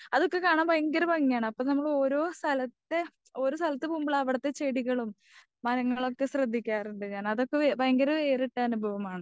അതൊക്കെ കാണാൻ ഭയങ്കര ഭങ്ങിയാണ്. അപ്പൊ ഓരോ സ്ഥലത്തെ ഓരോ സ്ഥലത്തു പോകുമ്പോളാ അവിടുത്തെ ചെടികളും മരങ്ങളൊക്കെ ശ്രദ്ധിക്കാറുണ്ട് ഞാൻ അതൊക്കെ ഭയങ്കര വേറിട്ട അനുഭവമാണ്.